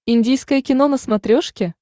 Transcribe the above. индийское кино на смотрешке